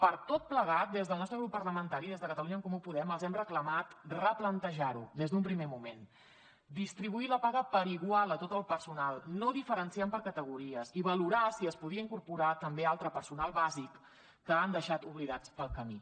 per tot plegat des del nostre grup parlamentari des de catalunya en comú podem els hem reclamat replantejar ho des d’un primer moment distribuir la paga per igual a tot el personal no diferenciant per categories i valorar si es podia incorporar també altre personal bàsic que han deixat oblidat pel camí